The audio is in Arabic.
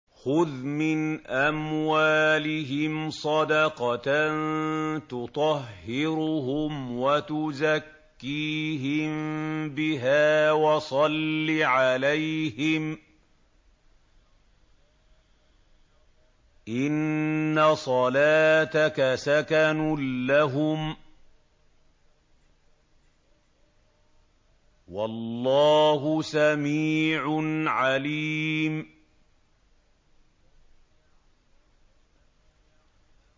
خُذْ مِنْ أَمْوَالِهِمْ صَدَقَةً تُطَهِّرُهُمْ وَتُزَكِّيهِم بِهَا وَصَلِّ عَلَيْهِمْ ۖ إِنَّ صَلَاتَكَ سَكَنٌ لَّهُمْ ۗ وَاللَّهُ سَمِيعٌ عَلِيمٌ